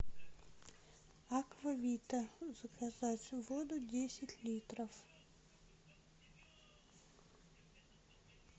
аква вита заказать воду десять литров